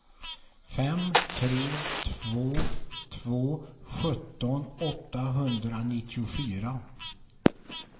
fem tre två två sjutton åttahundranittiofyra